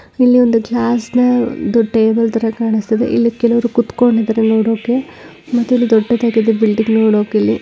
ಇಲ್ಲಿ ಒಂದು ಚದ ಟೇಬಲ್ತರ ಕಾಣಿಸ್ತಿದೆ ಇಲ್ಲಿ ಕೆಲವರು ಕುತ್ಕೊಂಡಿದ್ದಾರೆ ನೋಡೋಕೆ ಮತ್ತೆ ಇಲ್ಲಿ ದೊಡ್ಡ ದೊಡ್ಡ ಬಿಲ್ಡಿಂಗ್ ನೋಡೋಕೆ ಇಲ್ಲಿ--